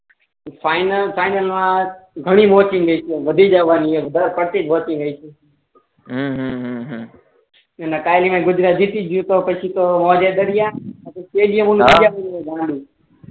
final final મા ઘણી વધી જાવાની ફરતી ફરતી મૈકી હમ હમ એના ફાઈનલ મા ગુજરા જીત્યું પછી તો સ્ટેડીય